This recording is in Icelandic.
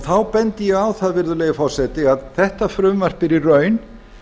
þá bendi ég á það virðulegi forseti að þetta frumvarp er í raun